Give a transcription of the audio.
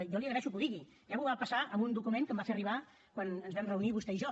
jo li agraeixo que ho digui ja m’ho va passar amb un document que em va fer arribar quan ens vam reunir vostè i jo